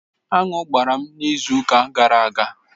Aṅụ gbara m n'izu ụka gara aga.